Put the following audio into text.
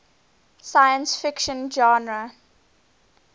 science fiction genre